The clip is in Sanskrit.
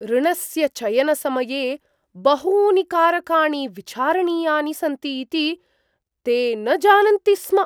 ऋणस्य चयनसमये बहूनि कारकाणि विचारणीयानि सन्ति इति ते न जानन्ति स्म!